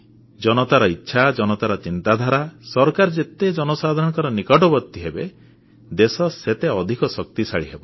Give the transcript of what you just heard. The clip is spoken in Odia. ଜନତାର ଇଚ୍ଛା ଜନତାର ଚିନ୍ତାଧାରା ସରକାର ଯେତେ ଜନସାଧାରଣଙ୍କ ନିକଟବର୍ତ୍ତୀ ହେବେ ଦେଶ ସେତେ ଅଧିକ ଶକ୍ତିଶାଳୀ ହେବ